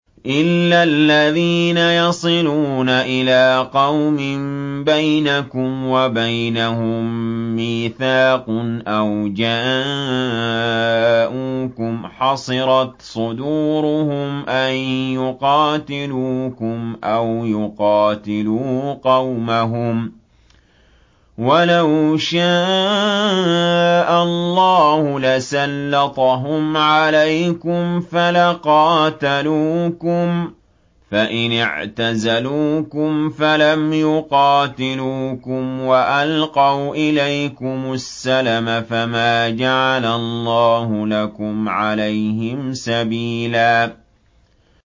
إِلَّا الَّذِينَ يَصِلُونَ إِلَىٰ قَوْمٍ بَيْنَكُمْ وَبَيْنَهُم مِّيثَاقٌ أَوْ جَاءُوكُمْ حَصِرَتْ صُدُورُهُمْ أَن يُقَاتِلُوكُمْ أَوْ يُقَاتِلُوا قَوْمَهُمْ ۚ وَلَوْ شَاءَ اللَّهُ لَسَلَّطَهُمْ عَلَيْكُمْ فَلَقَاتَلُوكُمْ ۚ فَإِنِ اعْتَزَلُوكُمْ فَلَمْ يُقَاتِلُوكُمْ وَأَلْقَوْا إِلَيْكُمُ السَّلَمَ فَمَا جَعَلَ اللَّهُ لَكُمْ عَلَيْهِمْ سَبِيلًا